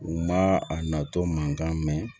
U ma a natɔ mankan mɛn